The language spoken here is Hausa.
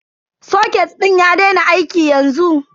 Soket din ya daina aiki yanzu.